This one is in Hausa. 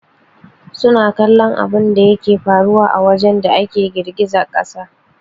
Suna kallon abunda yake faruwa a wajen da ake girgizar kasa